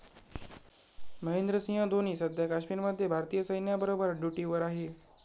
महेंद्रसिंह धोनी सध्या काश्मीरमध्ये भारतीय सैन्याबरोबर ड्युटीवर आहे.